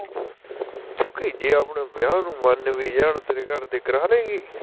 ਸੁਖੀ ਜੇ ਆਪਣੇ ਵਿਆਹ ਨੂੰ ਮਨ ਵੀ ਜਾਣ ਤੇਰੇ ਘਰਦੇ, ਕਰਾਲੇਗੀ